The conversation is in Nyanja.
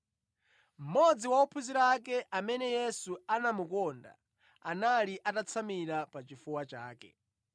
Mmodzi wa ophunzira ake amene Yesu anamukonda, anali atatsamira pachifuwa chake.